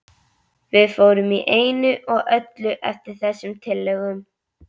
Við fórum í einu og öllu eftir þessum tillögum.